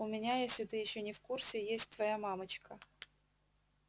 у меня если ты ещё не в курсе есть твоя мамочка